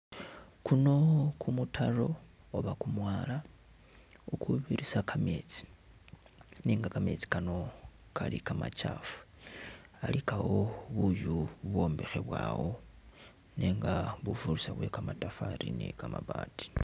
Kuno kumutalo oba kumwala ukukubirisa kameetsi nenga kamesti kano kali kamakyafu alikawo buuyu bu’bwombikhebwawo nenga bufurisa bwe kamatafali ni kamaabati.